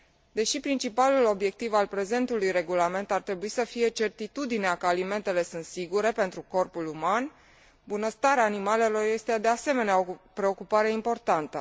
Deși principalul obiectiv al prezentului regulament ar trebui să fie certitudinea că alimentele sunt sigure pentru corpul uman, bunăstarea animalelor este, de asemenea, o preocupare importantă.